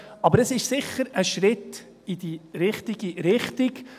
Aber es ist sicher ein Schritt in die richtige Richtung.